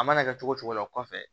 A mana kɛ cogo cogo la o kɔfɛ